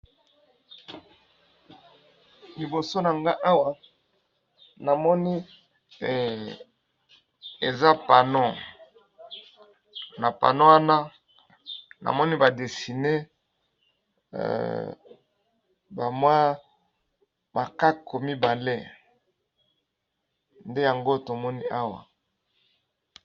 Liboso na nga awa, na moni eza panneau, na panneau wana na moni ba dessiner ba mwa makaku mibale, nde yango to moni awa .